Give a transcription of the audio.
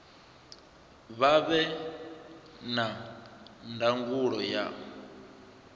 vha vhe na ndangulo ya